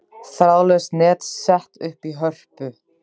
Þráðlaust net sett upp í Hörpu